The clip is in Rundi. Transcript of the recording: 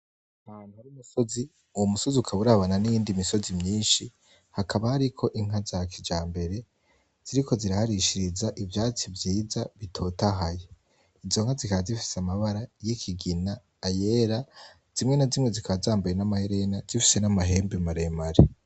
Ahantu hari imisozi, uwo musozi ukaba urabana n'iyindi misozi myinshi hakaba hariko inka za kijambere ziriko ziraharishiriza ivyatsi vyiza bitotahaye, izo nka zikaba zifise amabara y'ikigina, ayera, zimwe na zimwe zikaba zambaye n'amaherena zifise n'amahembe maremare.